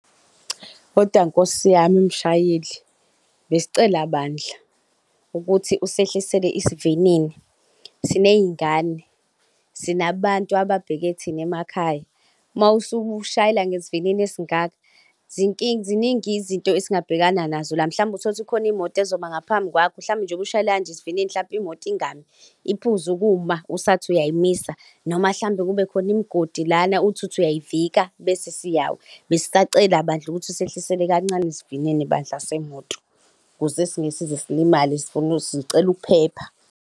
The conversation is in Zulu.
Kodwa nkosi yami mshayeli, besicela bandla ukuthi usehlisele isivinini, siney'ngane, sinabantu ababheke thina emakhaya. Uma usushayela ngesivinini esingaka ziningi izinto esingabhekana nazo la, mhlawumbe uthole ukuthi kukhona imoto izoma ngaphambi kwakho. Mhlawumbe njengoba ushayela kanje isivinini mhlampe imoto ingami, iphuze ukuma usathi ayayimisa noma mhlawumbe kube khona imigodi lana uthi uthi uyayivika bese siyawa. Besisacela bandla ukuthi usehlise kancane isivinini bandla semoto, ukuze singeke size silimale. Sifuna, sicela ukuphepha.